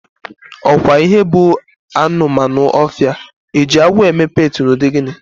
Ọkwa ihe bụ anụmanụ ọfịa, Eji agwọ eme peetị na ụdị gịnị?